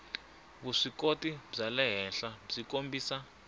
vuswikoti bya le henhlabyi kombisa